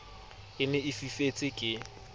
e ne e fifetse ke